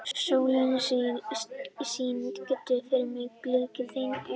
Sólon, syngdu fyrir mig „Blik þinna augna“.